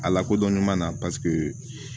A lakodɔn ɲɔgɔn na paseke